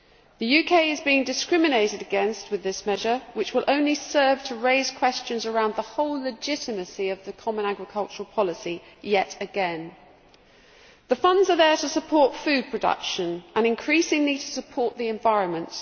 The UK is being discriminated against with this measure, which will only serve, yet again, to raise questions about the whole legitimacy of the common agricultural policy. The funds are there to support food production and increasingly to support the environment.